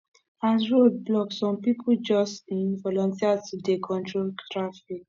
as road block some pipu just um volunteer to dey control traffic